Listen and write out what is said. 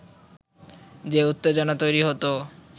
যে উত্তেজনা তৈরি হতো